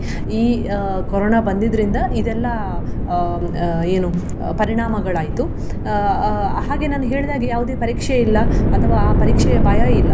ಈ ಅಹ್ ಕೊರೋನಾ ಬಂದಿದ್ರಿಂದ ಇದೆಲ್ಲ ಅಹ್ ಏನು ಪರಿಣಾಮಗಳಾಯ್ತು. ಅಹ್ ಅಹ್ ಹಾಗೆ ನಾನು ಹೇಳಿದಾಗೆ ಯಾವುದೇ ಪರೀಕ್ಷೆ ಇಲ್ಲ ಅಥವಾ ಆ ಪರೀಕ್ಷೆಯ ಭಯ ಇಲ್ಲ.